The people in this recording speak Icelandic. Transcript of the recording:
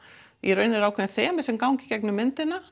í raun eru ákveðin þemu sem ganga í gegnum myndina